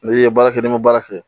Ne ye baara kɛ ni n ma baara kɛ